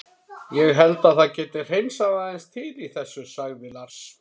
Ég held að það geti hreinsað aðeins til í þessu, sagði Lars.